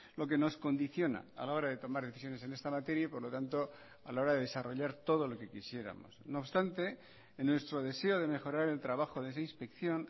lo que nos condiciona a la hora de tomar decisiones en esta materia y por lo tanto a la hora de desarrollar todo lo que quisiéramos no obstante en nuestro deseo de mejorar el trabajo de esa inspección